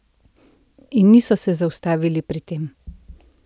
In niso se zaustavili pri tem.